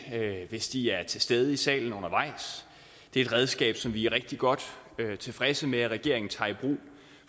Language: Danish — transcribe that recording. hvis de er til stede i salen undervejs det er et redskab som vi er rigtig godt tilfredse med at regeringen tager i brug